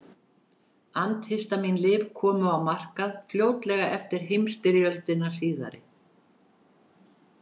Andhistamín-lyf komu á markað fljótlega eftir heimsstyrjöldina síðari.